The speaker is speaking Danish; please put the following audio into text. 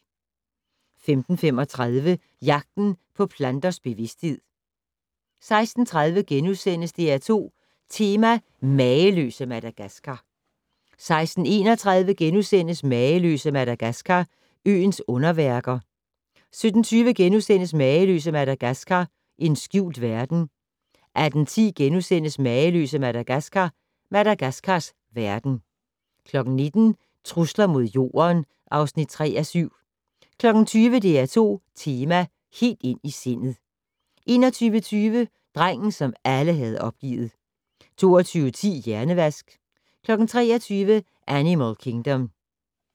15:35: Jagten på planters bevidsthed 16:30: DR2 Tema: Mageløse Madagaskar * 16:31: Mageløse Madagaskar - øens underværker * 17:20: Mageløse Madagaskar - en skjult verden * 18:10: Mageløse Madagaskar - Madagaskars verden * 19:00: Trusler mod Jorden (3:7) 20:00: DR2 tema: Helt ind i sindet 21:20: Drengen, som alle havde opgivet 22:10: Hjernevask 23:00: Animal Kingdom